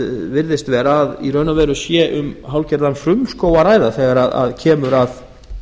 virðist vera að í raun og veru sé um hálfgerðan frumskóg að ræða þegar kemur að